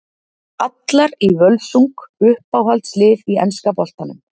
Allar í Völsung Uppáhalds lið í enska boltanum?